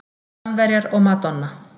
Samverjar og madonna